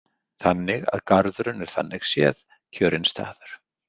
Þannig að garðurinn er þannig séð kjörinn staður.